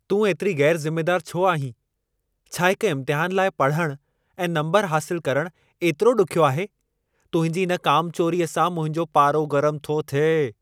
तूं ऐतिरी ग़ैरु ज़िमेदारु छो आहीं? छा हिक इम्तिहान लाइ पढ़णु ऐं नम्बर हासिलु करणु एतिरो ॾुखियो आहे? तुंहिंजी इन कमचोरीअ सां मुंहिंजो पारो गरम थो थिए।